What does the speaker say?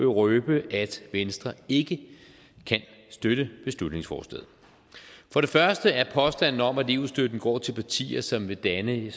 røbe at venstre ikke kan støtte beslutningsforslaget for det første er påstanden om at eu støtten går til partier som vil danne